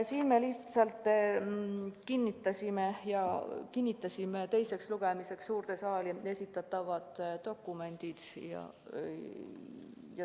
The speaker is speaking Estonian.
Siis me lihtsalt kinnitasime teiseks lugemiseks suurde saali esitatavad dokumendid.